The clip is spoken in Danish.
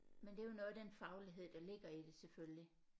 Men det er jo noget af den faglighed der ligger i det selvfølgelig